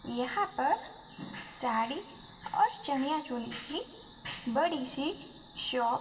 यहां पर साड़ी और चनिया चोली की बड़ीसी शॉप --